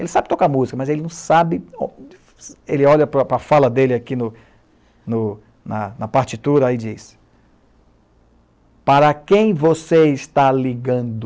Ele sabe tocar música, mas ele não sabe... Ele olha para a fala dele aqui, no, no na partitura e diz... Para quem você está ligando?